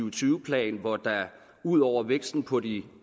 og tyve plan hvor der ud over væksten på de